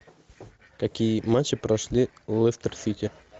какие матчи прошли у лестер сити